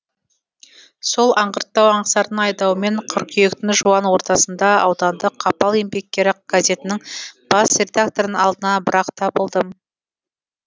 сол аңғырттау аңсардың айдауымен қыркүйектің жуан ортасында аудандық қапал еңбеккері газетінің бас редакторының алдынан бір ақ табылдым